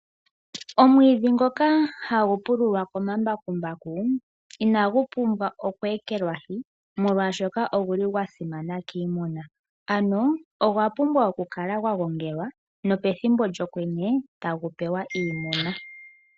Omwiidhi ngoka hagu pululwa komambakumbaku inagupumbwa okweekelwahi molwaashoka oguli gwasimana kiimuna. Ano ogwa pumbwa okukala gwagongelwa nopethimbo lyokwenye ta gu prwa iimuna.